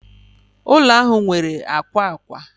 Ụlọ ahụ nwere akwa akwa